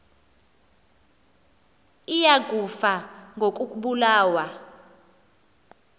iya kufa ngokobulawa